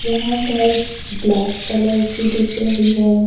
यहां भैंस black colour की दिख रही है।